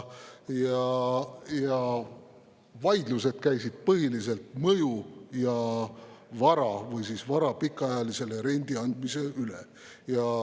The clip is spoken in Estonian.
Vaidlused käisid põhiliselt mõju ja vara või vara pikaajalisele rendile andmise üle.